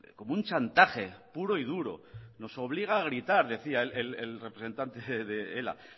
como un chantaje puro y duro nos obliga a gritar decía el representante de ela